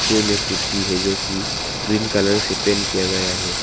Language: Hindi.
में कुर्सी है जो कि ग्रीन कलर से पेंट किया गया हैं।